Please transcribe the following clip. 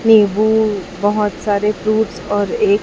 ये वो बहुत सारे फ्रूट्स और एक--